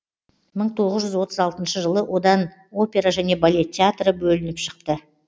мың тоғыз жүз отыз алтыншы жылы одан опера және балет театры бөлініп шықты